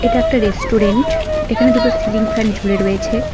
এটা একটা রেস্টুরেন্ট এখানে দুটো সিলিং ফ্যান ঝুলে রয়েছে।